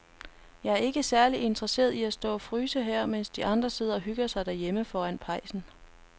Jeg er ikke særlig interesseret i at stå og fryse her, mens de andre sidder og hygger sig derhjemme foran pejsen.